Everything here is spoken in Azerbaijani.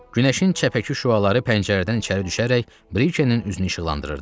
Günəşin çəpəki şüaları pəncərədən içəri düşərək Brikenin üzünü işıqlandırırdı.